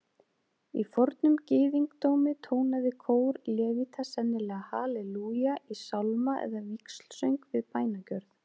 Í fornum gyðingdómi tónaði kór levíta sennilega halelúja í sálma eða víxlsöng við bænagjörð.